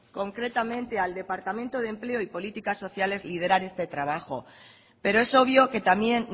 concretamente al departamento de empleo y política sociales liderar este trabajo pero eso obvio que también